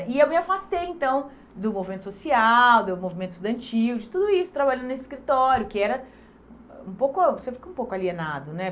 E eu me afastei, então, do movimento social, do movimento estudantil, de tudo isso, trabalhando nesse escritório, que era um pouco, você fica um pouco alienado, né?